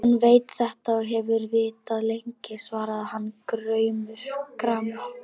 Hann veit þetta og hefur vitað lengi, svaraði hann gramur.